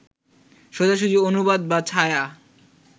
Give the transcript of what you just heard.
সোজাসুজি অনুবাদ বা ছায়া